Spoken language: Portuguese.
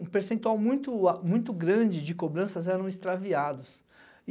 um percentual muito grande de cobranças eram extraviados.